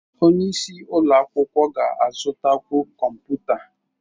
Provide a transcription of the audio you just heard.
Onye isi ụlọ akwụkwọ ga-azụtakwu kọmputa.